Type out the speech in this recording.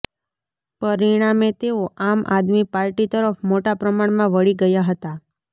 પરિણામે તેઓ આમ આદમી પાર્ટી તરફ મોટા પ્રમાણમાં વળી ગયા હતા